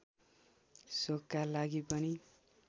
शोखका लागि पनि